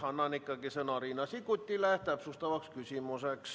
Enne annan ikkagi sõna Riina Sikkutile täpsustavaks küsimuseks.